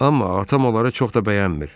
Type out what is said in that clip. Amma atam onları çox da bəyənmir.